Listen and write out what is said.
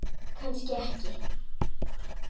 Kannski ekki.